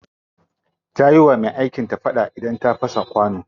Ta yi wa me aikin ta fada da ta fasa mata kwano.